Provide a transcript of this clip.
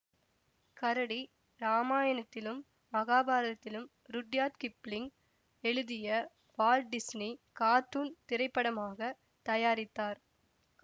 கரடி ராமாயணத்திலும் மகாபாரதத்திலும் ருட்யார்ட் கிப்ளிங் எழுதிய வால்ட் டிஸ்னி கார்ட்டூன் திரைப்படமாகத் தயாரித்தார்